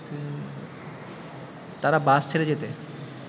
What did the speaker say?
তারা বাস ছেড়ে যেতে